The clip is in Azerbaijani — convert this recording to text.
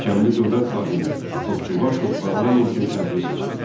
Görkəmli dövlət xadimi Topçubaşov parlamentin sədri seçildi.